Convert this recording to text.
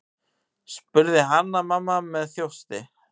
spurði Hanna-Mamma með þjósti.